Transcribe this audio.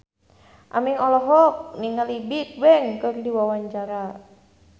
Aming olohok ningali Bigbang keur diwawancara